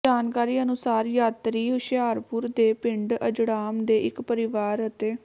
ਜਾਣਕਾਰੀ ਅਨੁਸਾਰ ਯਾਤਰੀ ਹੁਸ਼ਿਆਰਪੁਰ ਦੇ ਪਿੰਡ ਅਜੜਾਮ ਦੇ ਇੱਕ ਪਰਿਵਾਰ ਅਤੇ